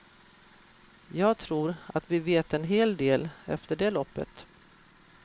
Jag tror att vi vet en hel del efter det loppet.